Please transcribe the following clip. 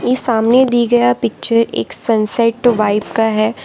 इ सामने दी गया पिक्चर एक सनसैट वाइब का है।